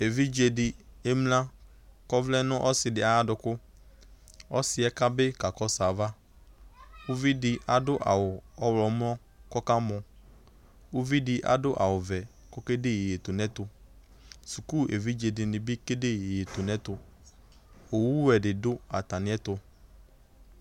Evidze dɩ emlǝ kɔvlɛ n'ɔsɩdɩ ayadʋkʋ ɔsɩɛ kabɩ kakɔsʋ ava Uvidɩ adʋ awʋ ɔɣlɔmɔ kɔka mɔ uvidɩ adʋ awʋ vɛ oke de iyeyetunɛtʋ, suku evidze dɩnɩ bɩ kede iyeyetunɛtʋ , owuwɛ dɩ dʋ atamɩɛtʋ